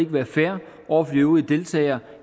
være fair over for de øvrige deltagere